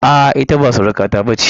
A'a, ita ba surukata ba ce.